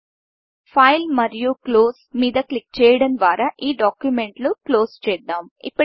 Fileఫైల్మరియు Closeక్లోజ్మీద క్లిక్ చేయడం ద్వారా ఈ డాక్యుమెంట్ను క్లోజ్ చేద్దాం